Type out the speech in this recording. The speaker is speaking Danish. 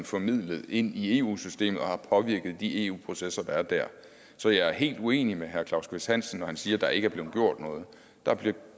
formidlet ind i eu systemet for at påvirke de processer der er der så jeg er helt uenig med herre claus kvist hansen når han siger at der ikke er blevet gjort noget der er blevet